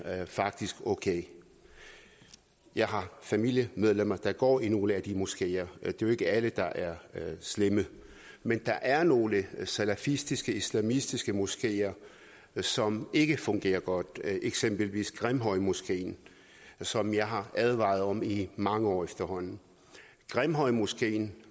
faktisk okay jeg har familiemedlemmer der går i nogle af de moskeer er jo ikke alle der er slemme men der er nogle salafistiske islamistiske moskeer som ikke fungerer godt eksempelvis grimhøjmoskeen som jeg har advaret om i mange år efterhånden grimhøjmoskeen